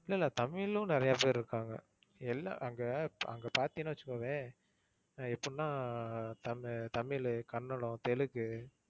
இல்ல இல்ல தமிழும் நிறைய பேரு இருக்காங்க. எல்லா~ அங்க அங்க பாத்தின்னு வச்சுக்கோயேன் எப்படின்னா தமிழ், கன்னடம், தெலுங்கு